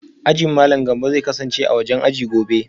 Ajin Malam Gambo zai kasance a wajen aji gobe